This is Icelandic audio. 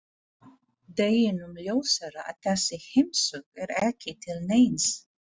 Deginum ljósara að þessi heimsókn er ekki til neins.